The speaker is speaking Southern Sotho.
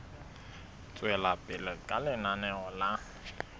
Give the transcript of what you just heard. tswela pele ka lenaneo la